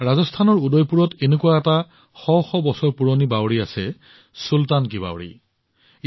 ৰাজস্থানৰ উদয়পুৰত এনেকুৱা এটা শ শ বছৰ পুৰণি খটখটি কুঁৱা আছে ইয়াৰ নাম হল চুলতান কি বাৱড়ী